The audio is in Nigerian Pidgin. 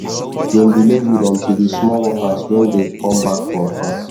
dem delay weed until the small workers wen dey come back from farm